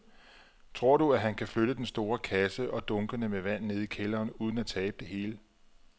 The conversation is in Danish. Tror du, at han kan flytte den store kasse og dunkene med vand ned i kælderen uden at tabe det hele?